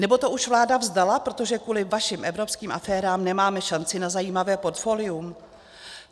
Nebo to už vláda vzdala, protože kvůli vašim evropským aférám nemáme šanci na zajímavé portfolium?